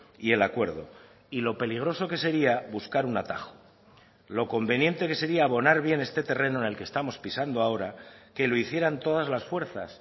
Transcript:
y el acuerdo y lo peligroso que sería buscar un atajo lo conveniente que sería abonar bien este terreno en el que estamos pisando ahora que lo hicieran todas las fuerzas